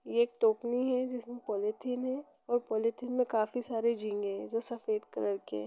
ये एक टोकनी है जिसमे पॉलीथिन है और पॉलीथिन में काफी सारे झींगे है जो सफ़ेद कलर के है।